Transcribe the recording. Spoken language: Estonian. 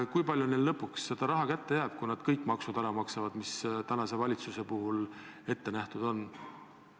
Kui palju neil lõpuks raha kätte jääb, kui nad kõik maksud ära maksavad, mis tänane valitsus ette on näinud?